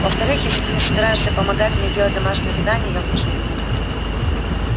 во-вторых если ты не собираешься помогать мне делать домашнее задание я лучше уйду